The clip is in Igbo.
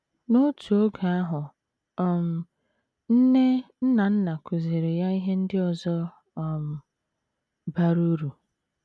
N’otu oge ahụ um, nne Nnanna kụziiri ya ihe ndị ọzọ um bara uru.